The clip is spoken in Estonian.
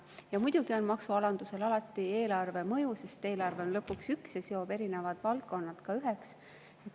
Ja muidugi on maksualandusel alati eelarvemõju, sest eelarve on lõpuks üks, ta seob erinevad valdkonnad üheks.